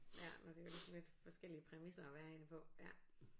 Ja men det er jo ligesom lidt forskellige præmisser at være i det på ja